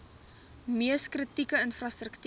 mees kritieke infrastruktuur